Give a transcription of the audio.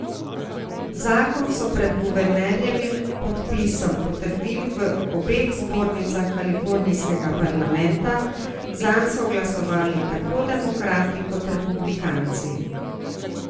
Zakon so pred guvernerjevim podpisom potrdili v obeh zbornicah kalifornijskega parlamenta, zanj so glasovali tako demokrati kot republikanci.